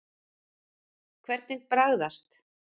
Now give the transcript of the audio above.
Hvernig bragðast?